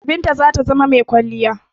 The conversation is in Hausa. Binta zata zama mai kwalliya.